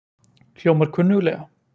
Hljómar kunnuglega?